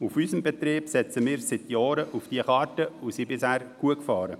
Auf unserem Betrieb setzen wir seit Jahren auf diese Karte und sind bisher gut damit gefahren.